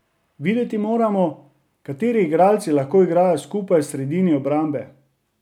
Videti moramo, kateri igralci lahko igrajo skupaj v sredini obrambe.